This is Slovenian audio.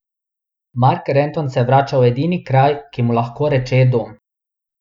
Mark Renton se vrača v edini kraj, ki mu lahko reče dom.